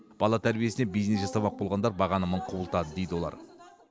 бала тәрбиесінен бизнес жасамақ болғандар бағаны мың құбылтады дейді олар